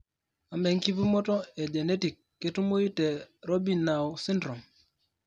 Amaa enkipimoto e genetic ketumoyu te Robinow syndrome?